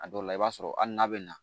A dɔw la i b'a sɔrɔ hali n'a bɛ na